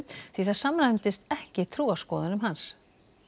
því það samræmdist ekki trúarskoðunum hans